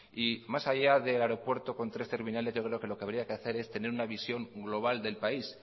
y más allá de aeropuerto con tres terminales yo creo que lo que habría que hacer es tener una visión global del país